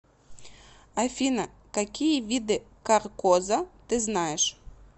афина какие виды каркоза ты знаешь